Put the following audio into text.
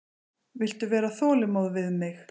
Viltu vera þolinmóð við mig.